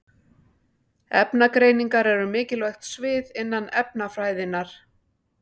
Efnagreiningar eru mikilvægt svið innan efnafræðinnar.